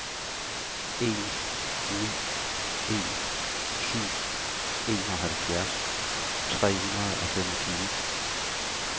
en ni en syv enoghalvfjerds tre hundrede og femogtyve